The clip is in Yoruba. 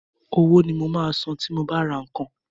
Owó ni mo máa san tí mo bá ra nǹkan.